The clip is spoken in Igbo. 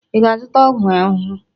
Ị ga-azụta ọgwụ ahụhụ!